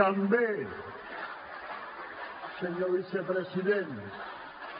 també senyor vicepresident